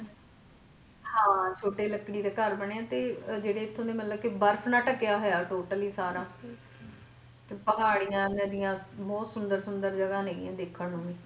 ਛੋਟੇ ਲੱਕੜੀ ਦੇ ਘਰ ਬਣੇ ਆ ਤੇ ਜਿਹੜੇ ਇੱਥੋਂ ਦੇ ਮਤਲਬ ਕਿ ਤੇ ਬਰਫ ਨਾਲ ਢਕਿਆ ਹੋਇਆ totally ਸਾਰਾ ਤੇ ਪਹਾੜੀਆਂ ਨਦੀਆਂ ਬਹੁਤ ਸੁੰਦਰ ਸੁੰਦਰ ਜਗਾ ਨੇ ਦੇਖਣ ਨੂੰ ।